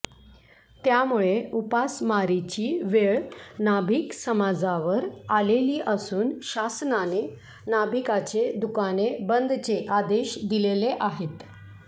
त्यामुळे उपासमारीची वेळ नाभिक समाजावर आलेली असुन शासनाने नाभिकाचे दुकाने बंदचे आदेश दिलेले आहेत